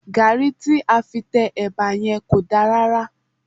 Gàrí tí a fi tẹ ẹba yẹn kò dá rárá